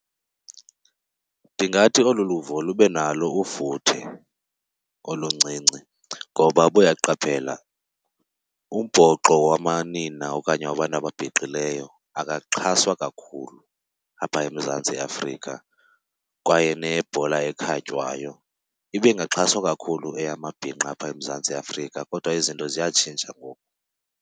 Ndingathi olu luvo lube nalo ufuthe oluncinci, ngoba uba uyaqaphela umbhoxo wamanina okanye wabantu ababhinqileyo akaxhaswa kakhulu apha eMzantsi Afrika kwaye nebhola ekhatywayo ibingaxhaswa kakhulu eyamabhinqa apha eMzantsi Afrika. Kodwa izinto ziyatshintsha ngoku.